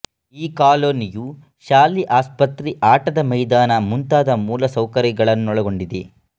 ಈ ಕಾಲೋನಿಯು ಶಾಲೆ ಆಸ್ಪತ್ರೆ ಆಟದ ಮೈದಾನ ಮುಂತಾದ ಮೂಲಸೌಕರ್ಯಗಳನ್ನೊಳಗೊಂಡಿದೆ